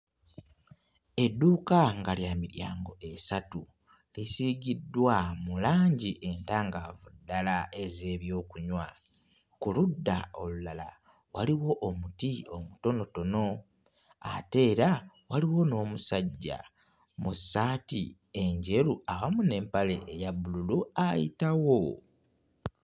Edduuka nga lya miryango esatu. Lisiigiddwa mu langi entangaavu ddala ez'ebyokunywa. Ku ludda olulala waliwo omuti omutonotono ate era waliwo n'omusajja mu ssaati enjeru awamu n'empale eya bbululu ayitawo.